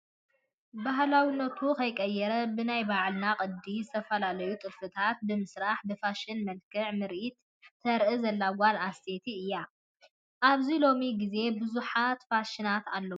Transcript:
ባህላዊነቱ ከይለቀቀ ብናይ ባዕልና ቅድ ዝተፈላለዩ ጥልፊታት ብምስራሕ ብፋሽን መልኽዕ ምርኢት ተርኢ ዘላ ጓል ኣነስተይቲ እያ። ኣብዚ ሎሚ ግዜብዙሓት ፋሽናት ኣለው።